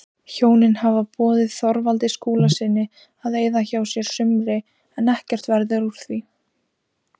Hjónin hafa boðið Þorvaldi Skúlasyni að eyða hjá sér sumri en ekkert verður úr því.